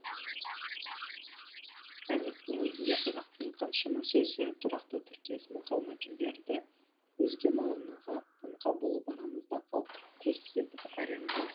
қазірдің өзінде қазақтың қаншама сөзі тұрақты тіркес мақал мәтелдері өзге мағынаға қаңқа болып арамызда қалт құлт етіп әрең жүр